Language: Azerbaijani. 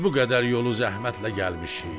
"Biz bu qədər yolu zəhmətlə gəlmişik."